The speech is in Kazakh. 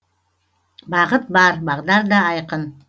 бағыт бар бағдар да айқын